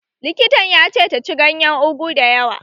Likitan ya ce ta ci ganyen Ugu dayawa